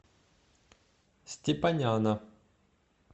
степаняна